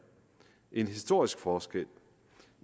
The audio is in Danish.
en historisk forskel